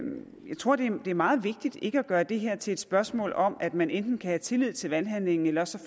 tror det er meget vigtigt ikke at gøre det her til et spørgsmål om at man enten kan have tillid til valghandlingen eller også